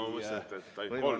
Ma mõtlesin, et ainult kolm.